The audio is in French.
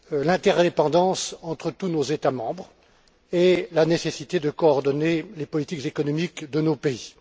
l'interdépendance entre tous nos États membres et la nécessité de coordonner les politiques économiques de nos pays.